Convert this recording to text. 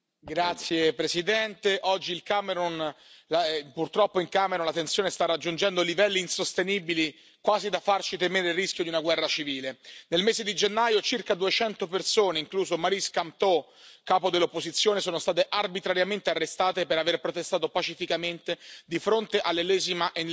Signor Presidente, onorevoli colleghi, purtroppo in Camerun la tensione sta raggiungendo livelli insostenibili, quasi da farci temere il rischio di una guerra civile. Nel mese di gennaio circa 200 persone, incluso Maurice Kamto, capo dell'opposizione, sono state arbitrariamente arrestate per aver protestato pacificamente di fronte all'ennesima